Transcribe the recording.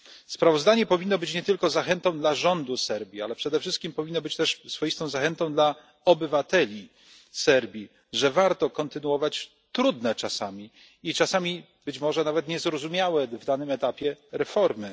Sprawozdanie powinno być nie tylko zachętą dla rządu Serbii, ale przede wszystkim powinno być też swoistą zachętą dla obywateli Serbii, że warto kontynuować, trudne czasami i czasami być może nawet niezrozumiałe na danym etapie, reformy.